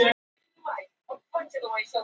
Kjaradeila í rembihnút